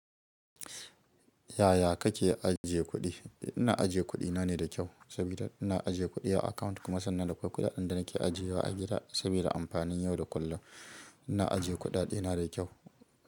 Yaya kake ajiye kuɗi? Ina ajiye kuɗi nane da kyau saboda ina ajiye kuɗi a account kuma sannan dakwai kuɗaɗen da nake ajiyewa a gida saboda amfanin yau da kullum. Ina ajiye kuɗaɗena da kyau.